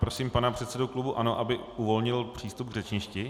Prosím pana předsedu klubu ANO, aby uvolnil přístup k řečništi.